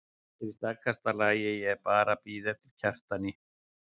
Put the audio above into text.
Allt er í stakasta lagi, ég er bara að bíða eftir Kjartani.